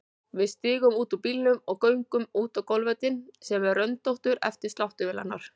Við stígum út úr bílnum og göngum út á golfvöllinn sem er röndóttur eftir sláttuvélarnar.